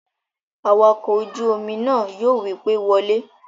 Awakọ̀ ojú-omi náà yóò wí pé, "Wọ lé!"